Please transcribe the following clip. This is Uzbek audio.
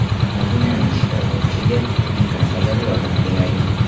Madinaning shifo topishiga imkon qadar yordam beraylik!